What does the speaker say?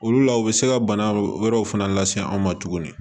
Olu la u bɛ se ka bana wɛrɛw fana lase an ma tuguni